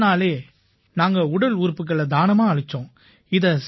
அடுத்த நாளே நாங்க உடல் உறுப்புக்களை தானமா அளிச்சோம்